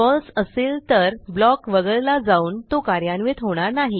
फळसे असेल तर ब्लॉक वगळला जाऊन तो कार्यान्वित होणार नाही